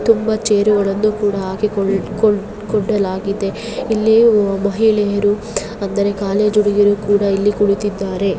ತುಂಬಾ ಚೇರುಗಳನ್ನು ಕೂಡ ಹಾಕಿಕೊಳ್ಲ ಕೋಡ್ ಕೊಳ್ಳಲಾಗಿದೆ ಇಲ್ಲಿ ಮಹಿಳೆಯರು ಅಂದರೆ ಕಾಲೇಜು ಹುಡುಗಿಯರು ಕೂಡ ಕುಳತಿದ್ದಾರೆ .